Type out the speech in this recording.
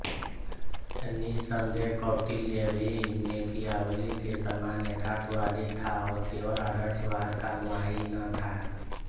निस्सन्देह कौटिल्य भी मेकियावली के समान यथार्थवादी था और केवल आदर्शवाद का अनुयायी न था